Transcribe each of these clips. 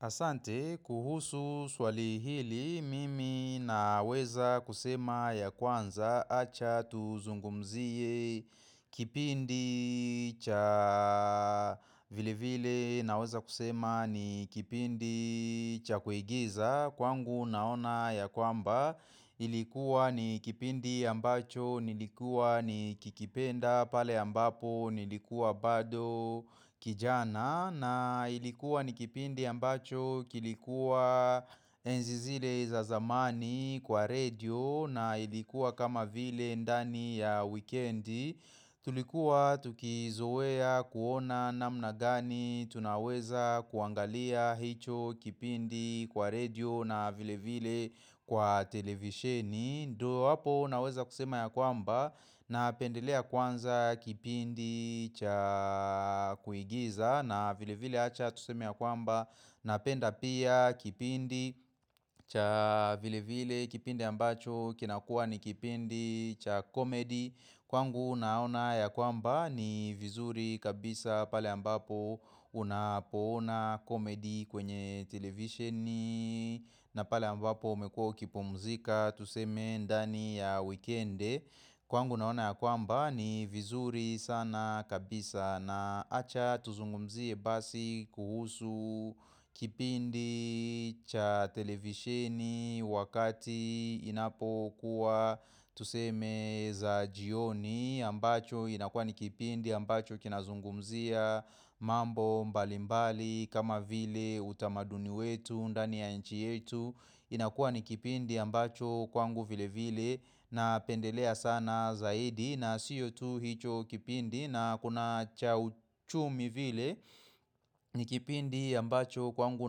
Asante kuhusu swali hili mimi naweza kusema ya kwanza acha tuzungumzie kipindi cha vile vile naweza kusema ni kipindi cha kuigiza Kwangu naona ya kwamba ilikuwa ni kipindi ambacho, nilikuwa nikikipenda pale ambapo, nilikuwa bado kijana na ilikuwa ni kipindi ambacho, kilikuwa enzi zile za zamani kwa radio na ilikuwa kama vile ndani ya wikendi Tulikuwa tukizoea kuona namna gani tunaweza kuangalia hicho kipindi kwa radio na vile vile kwa televisheni Ndio hapo naweza kusema ya kwamba napendelea kwanza kipindi cha kuigiza na vile vile acha tuseme ya kwamba Napenda pia kipindi cha vile vile kipindi ambacho kinakuwa ni kipindi cha komedi Kwangu naona ya kwamba ni vizuri kabisa pale ambapo unapoona komedi kwenye televisheni na pale ambapo umekuwa ukipumzika tuseme ndani ya wikendi Kwangu naona ya kwamba ni vizuri sana kabisa na acha tuzungumzie basi kuhusu kipindi cha televisheni wakati inapokuwa tuseme za jioni ambacho inakuwa ni kipindi ambacho kinazungumzia mambo mbalimbali kama vile utamaduni wetu ndani ya nchi yetu. Inakuwa ni kipindi ambacho kwangu vile vile napendelea sana zaidi na sio hicho kipindi na kuna cha uchumi vile ni kipindi ambacho kwangu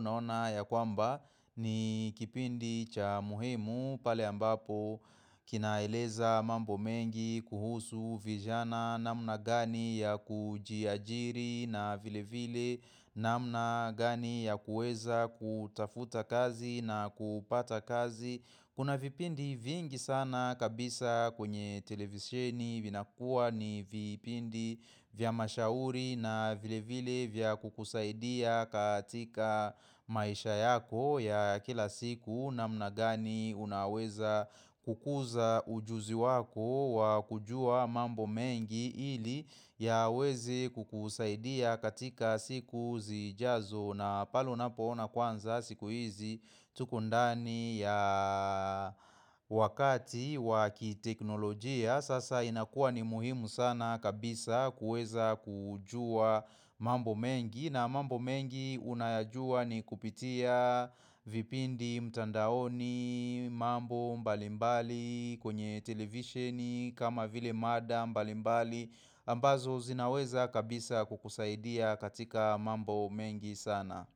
naona ya kwamba ni kipindi cha muhimu pale ambapo kinaeleza mambo mengi kuhusu vijana namna gani ya kujiajiri na vile vile namna gani ya kuweza kutafuta kazi na kupata kazi Kuna vipindi vingi sana kabisa kwenye televisheni vinakuwa ni vipindi vya mashauri na vile vile vya kukusaidia katika maisha yako ya kila siku namna gani unaweza kukuza ujuzi wako wa kujua mambo mengi ili yaweze kukusaidia katika siku zijazo na pale unapoona kwanza siku hizi tuko ndani ya wakati wa kiteknolojia Sasa inakuwa ni muhimu sana kabisa kueza kujua mambo mengi na mambo mengi unayajua ni kupitia vipindi mtandaoni mambo mbalimbali mbali kwenye televisheni kama vile mada mbalimbali ambazo zinaweza kabisa kukusaidia katika mambo mengi sana.